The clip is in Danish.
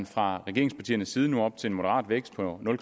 fra regeringspartiernes side op til en moderat vækst på nul